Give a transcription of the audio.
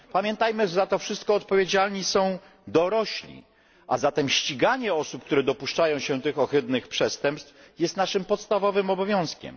Pamiętajmy, że za to wszystko odpowiedzialni są dorośli, a zatem ściganie osób, które dopuszczają się tych ohydnych przestępstw jest naszym podstawowym obowiązkiem.